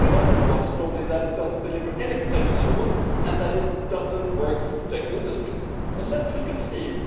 The most predominant one is probably that they do not deliver any protection at all and do not work to protect industries. But let us look at steel.